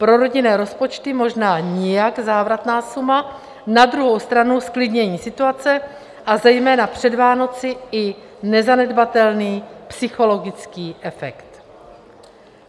Pro rodinné rozpočty možná nijak závratná suma, na druhou stranu zklidnění situace a zejména před Vánoci i nezanedbatelný psychologický efekt.